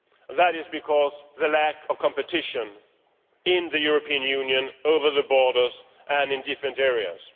This is because of the lack of competition in the European Union across borders and within different areas.